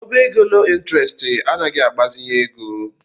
Ọbá égo loo ịntrestị anaghị agbazinye ego.